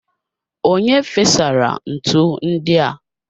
Onye fesara ntu ndi a?